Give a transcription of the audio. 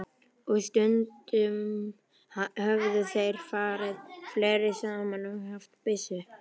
Og stundum höfðu þeir farið fleiri saman og haft byssu.